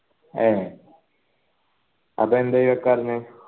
ഏർ അതെന്തേ വെക്കാതിരിന്നെ